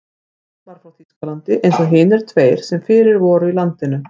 Hann var frá Þýskalandi eins og hinir tveir sem fyrir voru í landinu.